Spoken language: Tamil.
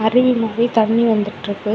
ட்ரீ மூவி தண்ணி வந்துட்டுருக்கு.